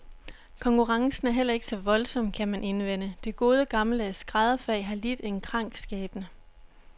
Konkurrencen er heller ikke så voldsom, kan man indvende, det gode gammeldags skrædderfag har lidt en krank skæbne.